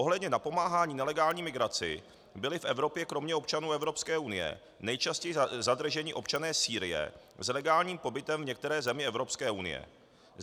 Ohledně napomáhání nelegální migraci byli v Evropě kromě občanů Evropské unie nejčastěji zadrženi občané Sýrie s legálním pobytem v některé zemi Evropské unie.